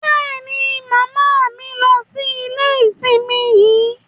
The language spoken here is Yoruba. Bẹ́ẹ̀ni, Mama mi ń lọ sí ilé nísìnyí